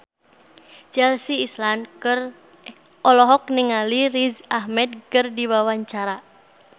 Chelsea Islan olohok ningali Riz Ahmed keur diwawancara